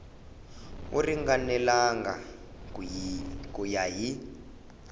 wu ringanelangi ku ya hi